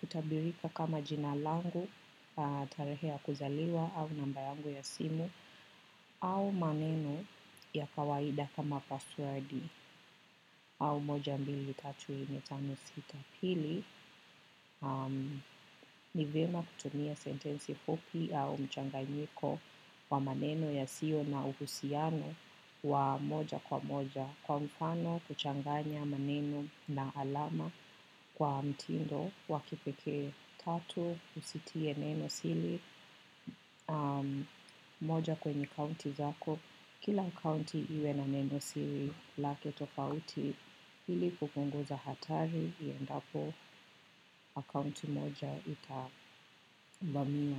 kutabirika kama jina langu na tarehe ya kuzaliwa au namba yangu ya simu au maneno ya kawaida kama password au moja, mbili, tatu, nne, tano, sita, pili, nivema kutumia sentensi fupi au mchangayiko wa maneno yasiyo na uhusiano wa moja kwa moja. Kwa mfano, kuchanganya maneno na alama kwa mtindo, waki pekee tatu, usitie neno siri, moja kwenye kaunti zako. Kila akaunti iwe na neno siri lake tofauti ili kupunguza hatari inapo akaunti moja ita vamiwa.